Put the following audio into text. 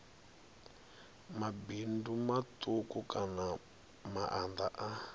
mabindu matuku kana maanda a